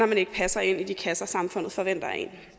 man ikke passer ind i de kasser samfundet forventer